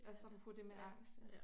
Også apropos det med angst